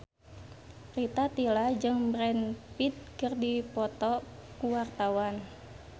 Rita Tila jeung Brad Pitt keur dipoto ku wartawan